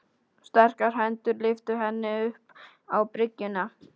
Sterkar hendur lyftu henni upp á bryggjuna.